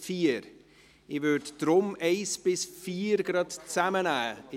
Ich würde deshalb die Punkte 1–4 zusammennehmen.